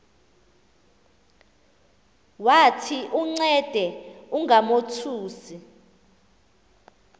wathi uncede ungamothusi